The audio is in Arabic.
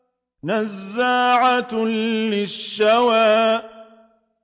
نَزَّاعَةً لِّلشَّوَىٰ